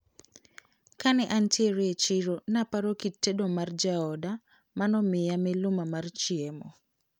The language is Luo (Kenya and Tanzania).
Kane antiere e chiro naparo kit tedo mar jaoda manomiya miluma mar chiemo.